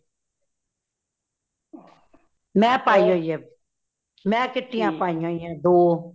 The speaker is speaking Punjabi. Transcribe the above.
ਮੈਂ ਪਾਈ ਹੋਈ ਹੇ ,ਮੈ kitty ਆ ਪਾਇਆ ਹੋਇਆ ਦੋ